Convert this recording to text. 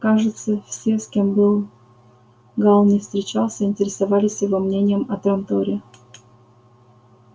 кажется все с кем бы гаал ни встречался интересовались его мнением о транторе